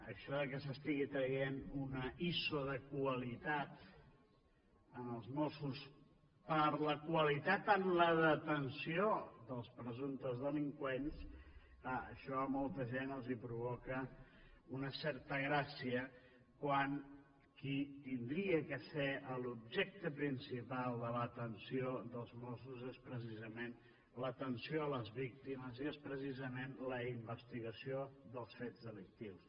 això que s’estigui traient una iso de qualitat als mossos per a la qualitat en la detenció dels presumptes delinqüents clar això a molta gent els provoca una certa gràcia quan qui hauria de ser l’objecte principal de l’atenció dels mossos és precisament l’atenció a les víctimes i és precisament la investigació dels fets delictius